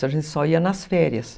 A gente só ia nas férias.